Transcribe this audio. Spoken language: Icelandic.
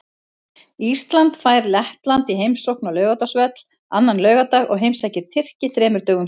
Ísland fær Lettland í heimsókn á Laugardalsvöll annan laugardag og heimsækir Tyrki þremur dögum síðar.